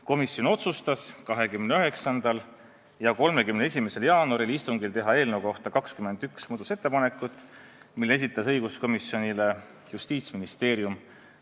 Komisjon otsustas 29. ja 31. jaanuari istungil teha eelnõu kohta 21 muudatusettepanekut, mille esitas õiguskomisjonile Justiitsministeerium.